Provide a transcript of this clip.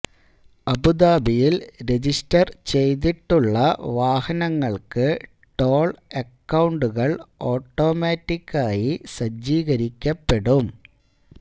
അബൂദബിയില് register ചെയ്തിട്ടുള്ള വാഹനങ്ങള്ക്ക് toll അക്കൌണ്ടുകള് ഓട്ടോമാറ്റിക്കായി സജ്ജീകരിക്കപ്പെടും